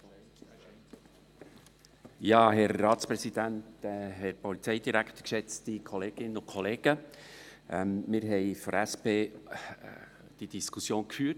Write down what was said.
Wir haben die Diskussion zu diesem Vorstoss in der SP-JUSO-PSAFraktion geführt.